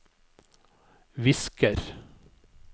visker